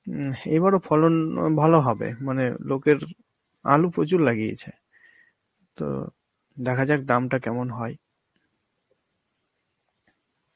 হম এইবার ও ফলন ও ভালো হবে, মানে লোকের আলু প্রচুর লাগিয়েছে, তো দেখা যাক দামটা কেমন হয়.